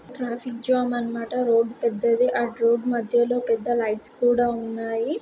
Traffic jam అన్మాట.రోడ్ పెద్దది. ఆ రోడ్ మధ్యలో పెద్ద లైట్స్ కూడా ఉన్నాయి.